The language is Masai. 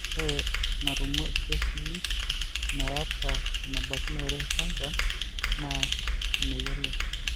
Ore enarumu irkesii meeta enebaikinore cancer naa imeyioloi.